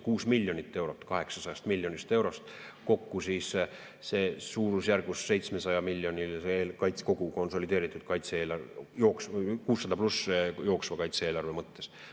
6 miljonit eurot 800 miljonist eurost, kokku siis see suurusjärgus 700‑miljonilise kogu konsolideeritud kaitse-eelarve, 600+ jooksva kaitse-eelarve mõttes.